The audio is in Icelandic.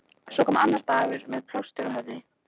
Svo kom annar dagur- með plástur á höfði.